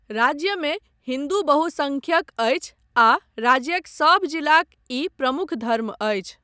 राज्यमे हिन्दू बहुसङ्ख्यक अछि आ राज्यक सभ जिलाक ई प्रमुख धर्म अछि।